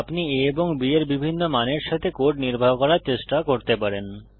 আপনি a এবং b এর বিভিন্ন মানের সাথে কোড নির্বাহ করার চেষ্টা করতে পারেন